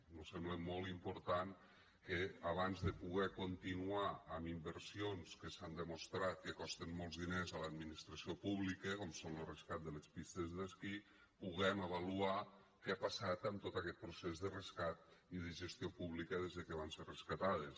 mos sembla molt important que abans de poder continuar amb inversions que s’ha demostrat que costen molts diners a l’administració pública com és lo rescat de les pistes d’esquí puguem avaluar què ha passat amb tot aquest procés de rescat i de gestió pública des de que van ser rescatades